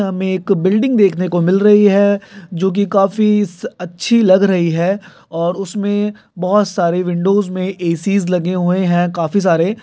में एक बिल्डिंग देख ने को मिल रही है जो की काफी अच्छी लग रही है और उसमे बहोत सारी विंडोज़ मे ए_सी ज़ लगे हुए है काफी सारे।